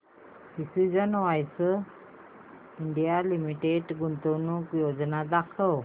precision wires India limited गुंतवणूक योजना दाखव